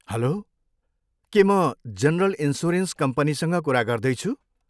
हलो, के म general insurance कम्पनीसँग कुरा गर्दैछु?